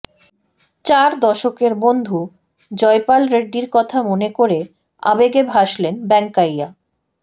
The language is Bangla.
চার দশকের বন্ধু জয়পাল রেড্ডির কথা মনে করে আবেগে ভাসলেন বেঙ্কাইয়া